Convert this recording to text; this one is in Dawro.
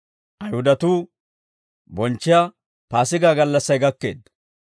Ayihudatuu bonchchiyaa Paasigaa gallassay gakkeedda.